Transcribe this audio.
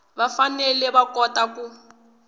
va fanele va kota ku